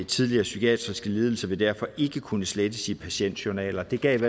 tidligere psykiatriske lidelser vil derfor ikke kunne slettes i patientjournaler det gav